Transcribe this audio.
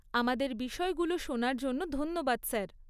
আমাদের বিষয়গুলো শোনার জন্য ধন্যবাদ, স্যার।